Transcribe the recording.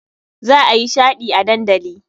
Za a yi shaɗi a dandali.